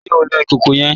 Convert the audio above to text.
Ṣe o lọ ikọkọ yẹn?